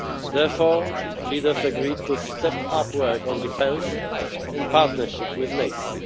Therefore, the leaders agreed to step up work on defence, in partnership with NATO.